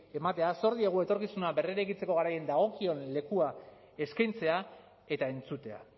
ematea zor diegu etorkizuna berreraikitzeko garaian dagokion lekua eskaintzea eta entzutea